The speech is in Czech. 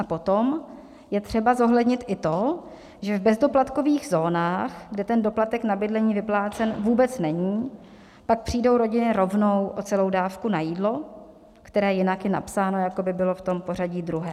A potom je třeba zohlednit i to, že v bezdoplatkových zónách, kde ten doplatek na bydlení vyplácen vůbec není, pak přijdou rodiny rovnou o celou dávku na jídlo, které jinak je napsáno, jako by bylo v tom pořadí druhé.